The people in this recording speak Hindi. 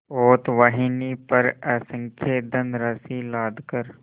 पोतवाहिनी पर असंख्य धनराशि लादकर